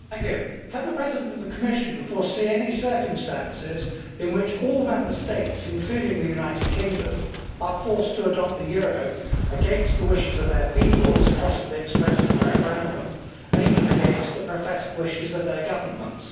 Mr President, can the President of the Commission foresee any circumstances in which all Member States, including the United Kingdom, are forced to adopt the euro against the wishes of their peoples possibly expressed in a referendum and even against the professed wishes of their governments?